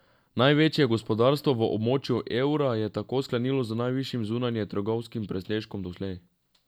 Največje gospodarstvo v območju evra je tako sklenilo z najvišjim zunanjetrgovinskim presežkom doslej.